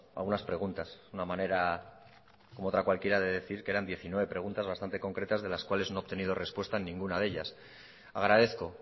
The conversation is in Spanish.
algunas preguntas es una manera como otra cualquiera que eran diecinueve preguntas bastantes concretas de la cuales no he obtenido respuesta en ninguna de ellas agradezco